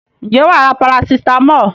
Ǹjẹ́ wà á ra parasitámọ̀?